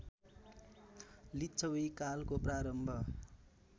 लिच्छवि कालको प्रारम्भ